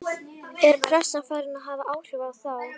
Er pressan farin að hafa áhrif á þá?